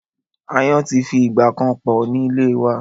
Aáyán ti fi ìgbà kan pọ̀ ní ìlé wa.